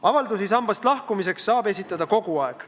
Avaldusi sambast lahkumiseks saab esitada kogu aeg.